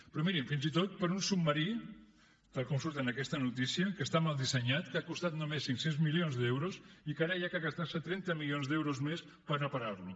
però mirin fins i tot per a un submarí tal com surt en aquesta notícia que està mal dissenyat que ha costat només cinc cents milions d’euros i que ara cal gastarse trenta milions d’euros més per repararlo